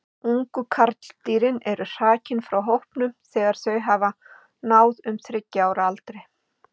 Ungu karldýrin eru hrakin frá hópnum þegar þau hafa náð um þriggja ára aldri.